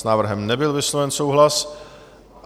S návrhem nebyl vysloven souhlas.